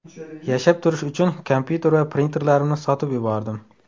Yashab turish uchun kompyuter va printerlarimni sotib yubordim.